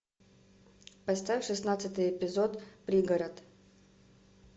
поставь шестнадцатый эпизод пригород